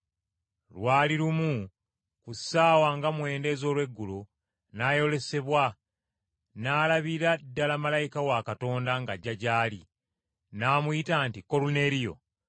Lwali lumu ku ssaawa nga mwenda ez’olweggulo, n’ayolesebwa, n’alabira ddala malayika wa Katonda ng’ajja gy’ali, n’amuyita nti, “Koluneeriyo!”